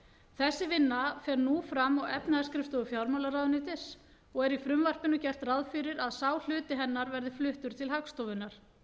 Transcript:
þessi vinna fer nú fram á efnahagsskrifstofu fjármálaráðuneytis og er í frumvarpinu gert ráð fyrir að sá hluti hennar verði fluttur til hagstofunnar